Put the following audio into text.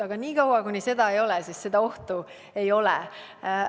Aga niikaua kui sellist olukorda ei ole, pole ka ohtu.